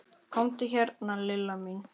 Komdu hérna Lilla mín.